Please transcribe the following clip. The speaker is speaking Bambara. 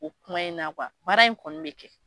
O kuma in na baara in kɔni bɛ kɛ.